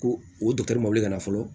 Ko o ma wuli ka na fɔlɔ